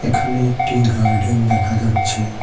এখানে একটি গার্ডেন দেখা যাচ্ছে।